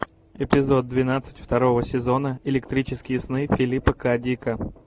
эпизод двенадцать второго сезона электрические сны филипа к дика